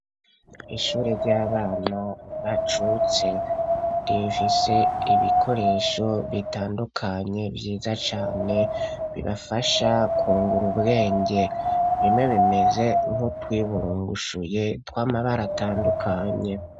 Ishure ry'abana bacutse rifise ibikoresho bitandukanye vyiza cane bibafasha kungura ubwenge ,bimwe bimeze nk'utwiburungushuye tw'amabara atandukanye.